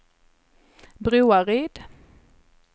Broaryd